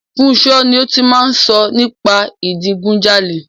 Funso ni ó ti máa ń sọ nípa ìdigunjalè.